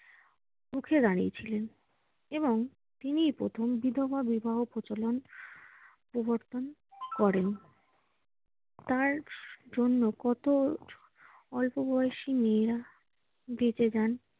রুখে দাঁড়িয়েছিলেন এবং তিনিই প্রথম বিধবা বিবাহ প্রচলন প্রবর্তন করেন। তাঁর জন্য কত অল্পবয়সী মেয়ে বেঁচে যান